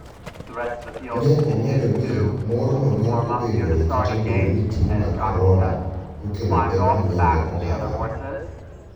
Ne omedo ni, morno ne obedoe kata obedo ni tuo mar corona nokelo pek mang'eny ne ohala.